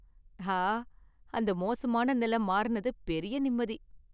ஆ! அந்த மோசமான நில மாறினது பெரிய நிம்மதி.